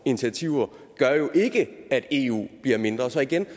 initiativer gør jo ikke at eu bliver mindre så igen